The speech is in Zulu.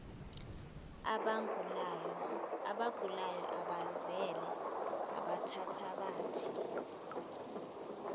abagulayo abazele abathathabathe